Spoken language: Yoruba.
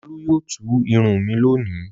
Olú yóò tú irun mi lónìí.